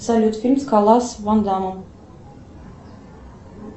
салют фильм скала с ван дамом